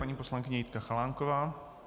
Paní poslankyně Jitka Chalánková.